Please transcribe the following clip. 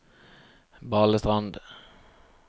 Balestrand